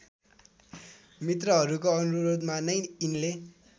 मित्रहरूको अनुरोधमा नै यिनले